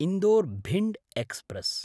Indore-Bhind express